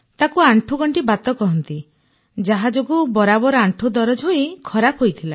ତାକୁ ଆଣ୍ଠୁଗଣ୍ଠି ବାତ କହନ୍ତି ଯାହା ଯୋଗୁଁ ବରାବର ଆଣ୍ଠୁ ଦରଜ ହୋଇ ଖରାପ ହୋଇଥିଲା